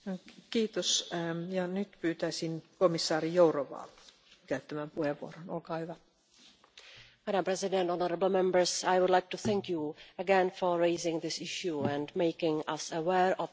Madam President, I would like to thank you again for raising this issue and making us aware of the difficulties faced by accidental Americans'.